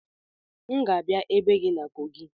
M ga-abịa ebe gị na kogị